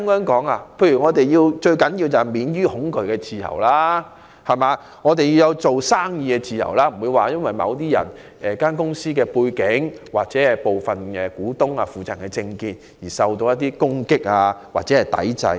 舉例來說，我們最重要的是要有免於恐懼的自由和做生意的自由，不會有公司因其背景、其股東或負責人的政見而受到攻擊或抵制。